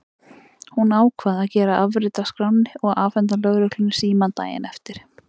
Hún ákvað að gera afrit af skránni og afhenda lögreglunni símann daginn eftir.